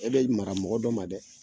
E be mara mɔgɔ dɔ ma dɛ!